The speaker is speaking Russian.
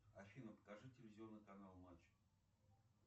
афина покажи телевизионный канал матч